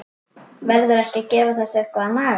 Verður ekki að gefa þessu eitthvað að naga?